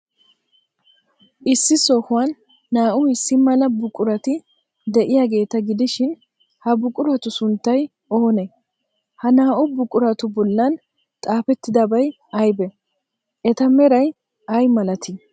Issi sohuwan naa''u issi mala buqurati de'iyaageeta gidishin, ha buquratu sunttay oonee? Ha naa''u buquratu bollan xaafettidabay aybee? Eta meray ay malatii?